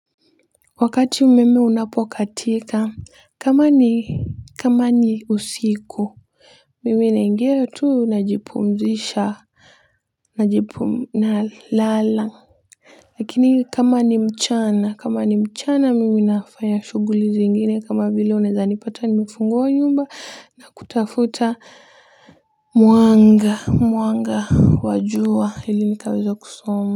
Wakati umeme unapokatika kama ni kama ni usiku mimi naingia tu najipumzisha, najipum nalala. Lakini kama ni mchana kama ni mchana mimi nafanya shughuli zingine kama vile unaweza nipata nimefungua nyumba na kutafuta mwanga mwanga wa jua ili nikaweze kusoma.